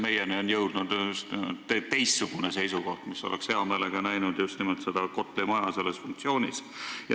Meie oleme kuulnud teistsugust seisukohta, et oleks hea meelega nähtud just nimelt seda Kotli maja selles funktsioonis.